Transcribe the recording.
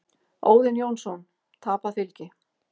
Óðinn Jónsson: Tapað fylgi.